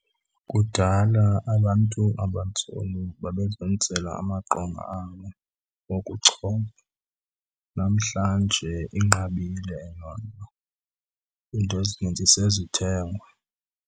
Kudala abantu abantsundu babezenzela amaqonga abo wokuchopha. Namhlanje inqabile loo into, iinto ezininzi sezithengwa.